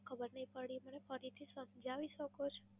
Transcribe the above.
ખબર નઈ પડી, મને ફરીથી સમજાવી શકો છો?